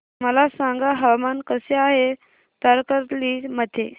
मला सांगा हवामान कसे आहे तारकर्ली मध्ये